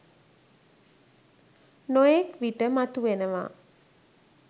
නොයෙක් විට මතුවෙනවා